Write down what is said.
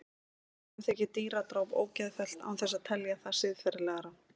Mörgum þykir dýradráp ógeðfellt án þess að telja það siðferðilega rangt.